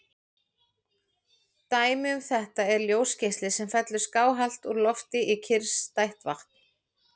Dæmi um þetta er ljósgeisli sem fellur skáhallt úr lofti í kyrrstætt vatn.